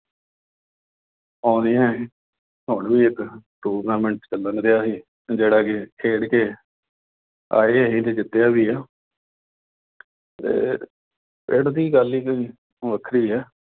ਆਉਂਦੀਆਂ। ਹੁਣ ਵੀ ਇੱਕ tournament ਚੱਲਣ ਡਿਆ ਸੀ, ਜਿਹੜਾ ਕਿ ਖੇਡ ਕੇ ਆਏ ਅਸੀਂ ਤੇ ਜਿੱਤਿਆ ਵੀ ਆ। ਤੇ ਪਿੰਡ ਦੀ ਗੱਲ ਹੀ ਕੋਈ ਵੱਖਰੀ ਆ।